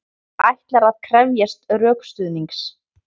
Ætlar að krefjast rökstuðnings